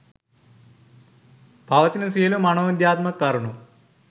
පවතින සියලු මනෝවිද්‍යාත්මක කරුණු